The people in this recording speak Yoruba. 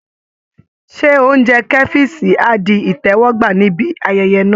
Ṣé oúnjẹ kẹ́fíìṣì á di ìtẹ́wọ́gbà níbí ayẹyẹ náà?